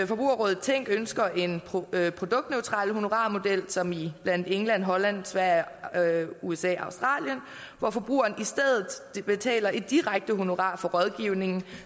forbrugerrådet tænk ønsker en produktneutral honorarmodel som i england holland sverige usa og australien hvor forbrugeren i stedet betaler et direkte honorar for rådgivning